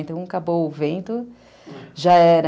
Então, acabou o vento, já era.